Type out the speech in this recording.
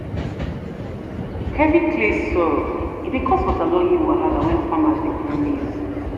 heavy clay soil dey cause waterlogging wahala when farmers dey grow maize.